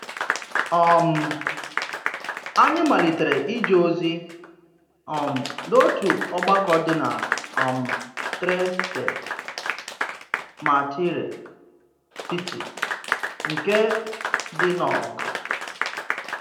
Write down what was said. um Ányị̀ malítèrè íjé òzì um n’òtù ọ̀gbàkọ̀ dị̀ na um Trècè Mártirès Sítì, nke dị̀ n’óg